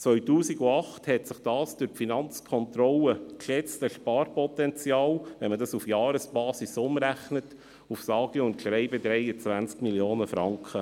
2018 belief sich das durch die Finanzkontrolle geschätzte Sparpotenzial, wenn man es auf die Jahresbasis umrechnet, auf sage und schreibe 23 Mio. Franken.